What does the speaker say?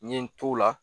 N ye n t'o la